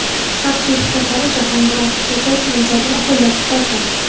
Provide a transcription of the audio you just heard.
Xalq deputatlari Jahongir Ortiqxo‘jayev nomzodini qo‘llab-quvvatladi.